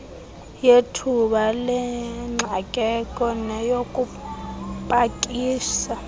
yethuba lengxakeko neyokupakisa